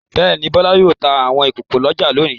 Bẹ́ẹ̀ ni, Bọ́lá yóò ta àwọn nǹkan ìkókó lọ́jà lónìí.